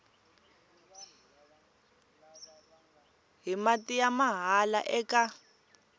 hi mati ya mahala eka